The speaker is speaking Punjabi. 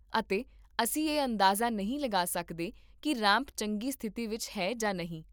ਅਤੇ ਅਸੀਂ ਇਹ ਅੰਦਾਜ਼ਾ ਨਹੀਂ ਲਗਾ ਸਕਦੇ ਕੀ ਰੈਂਪ ਚੰਗੀ ਸਥਿਤੀ ਵਿੱਚ ਹੈ ਜਾਂ ਨਹੀਂ